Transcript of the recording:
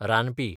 रानपी